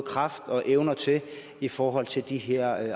magt og evner til i forhold til de her